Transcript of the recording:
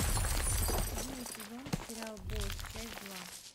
седьмой сезон сериал босс часть два